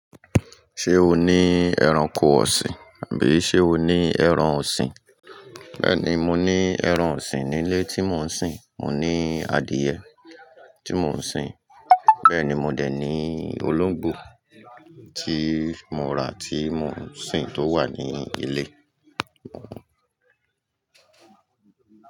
Ṣé o ní ẹranko ọ̀sìn àbí sé o ní ẹran ọ̀sìn? Bẹ́ẹ̀ ni, mo ní ẹran ọ̀sìn ní ilé tí mò ń sìn. Mò ní adìyẹ tí mò ń sìn. Bẹ́ẹ̀ ni, mo dè ní olóńgbò tí mo rà tí mò ń sìn tó wà ní ilé.